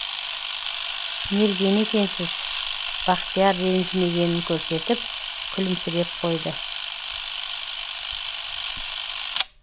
мерген екенсіз бақтияр ренжімегенін көрсетіп күлімсіреп қойды